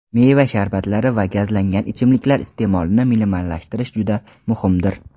meva sharbatlari va gazlangan ichimliklar iste’molini minimallashtirish juda muhimdir.